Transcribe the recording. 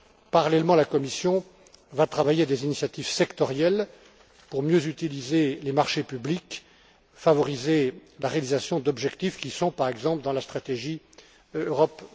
Parallèlement, la Commission va travailler à des initiatives sectorielles pour mieux utiliser les marchés publics, favoriser la réalisation d'objectifs qui sont, par exemple, dans la stratégie Europe